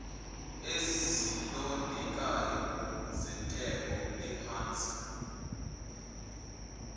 ezilondekayo zentengo ephansi